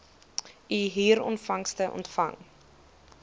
u huurinkomste ontvang